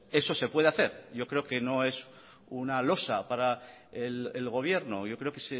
eso se puede hacer yo creo que no es una losa para el gobierno yo creo que